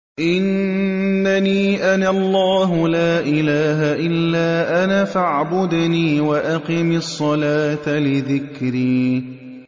إِنَّنِي أَنَا اللَّهُ لَا إِلَٰهَ إِلَّا أَنَا فَاعْبُدْنِي وَأَقِمِ الصَّلَاةَ لِذِكْرِي